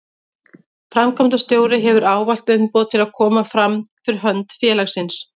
Framkvæmdastjóri hefur ávallt umboð til að koma fram fyrir hönd félagsins.